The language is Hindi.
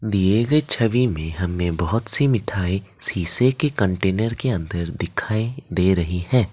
दिए गए छवि में हमने बहुत सी मिठाई शीशे के कंटेनर के अंदर दिखाइ दे रही है।